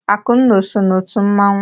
Akụnna o so n'otu mmanwụ?